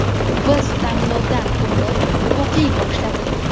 Biz tanlovdan o‘tib, o‘qiy boshladik.